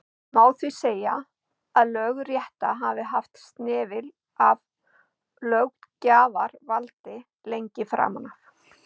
Má því segja að lögrétta hafi haft snefil af löggjafarvaldi lengi framan af.